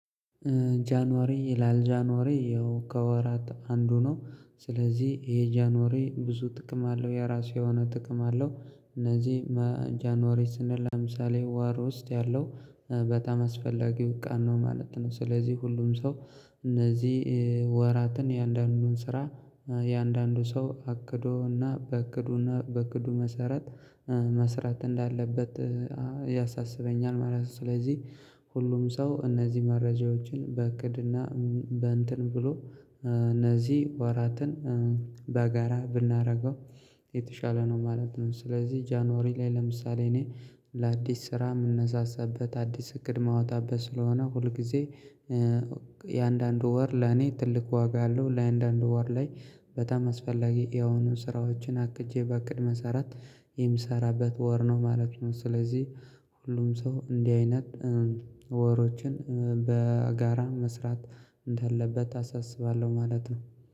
ጃንዋሪ ይላል ጃንዋሪ ያው ከወራት አንዱ ነው ስለዚህ ይሄ ጃንዋሪ ብዙ ጥቅም አለው የራሱ የሆነ ጥቅም አለው። እነዚህ ጃንዋሪ ስንል ለምሳሌ ወር ውስጥ ያለው በጣም አስፈላጊው ቃል ነው ማለት ነው። ስለዚህ ሁሉም ሰው እነዚህ ወራትን የአንዳንዱን ስራ የአንዳንዱ ሰው አቅዶ እና በእቅዱ እና በእቅዱ መሰረት መስራት እንዳለበት ያሳስበኛል ማለት ነው። ስለዚህ ሁሉም ሰው እነዚህ መረጃዎችን በእቅድ እና በእንትን ብሎ እነዚህ ወራትን በጋራ ብናደርገው የተሻለ ነው ማለት ነው። ስለዚህ ጃንዋሪ ላይ ለምሳሌ እኔ ለአዲስ ስራ የምነሳሳበት አዲስ እቅድ ማወጣበት ስለሆነ ሁልጊዜ የእያንዳንዱ ወር ለኔ ትልቅ ዋጋ አለው። እያንዳንዱ ወር ላይ በጣም አስፈላጊ የሆኑ ስራዎችን አቅጄ በእቅድ መሰረት የምሰራበት ወር ነው ማለት ነው። ስለዚህ ሁሉም ሰው እንዲህ አይነት ወሮችን በጋራ መስራት እንዳለበት አሳስባለሁ ማለት ነው።